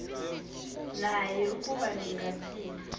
naye ukuba ningathini